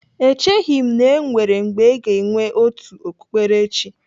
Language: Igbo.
Echeghị m na-enwere mgbe aga enwe otu okpukperechi.